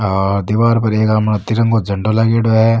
आ दिवार पर एक मा तिरंगा झंडो लागेङो है।